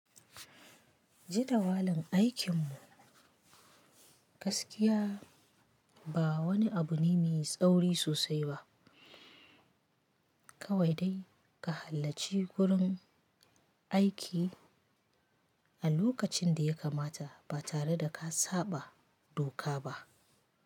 Jadawalin aikin mu, gaskiya ba wani abu ne mai tsauri sosai ba. Kawai dai ka halarci gurin aiki a lokacin da ya kamata ba tare da ka saɓa doka ba.